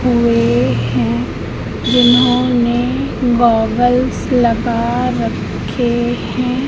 हुई हैं जिन्होंने गॉगल्स लगा रखे हैं।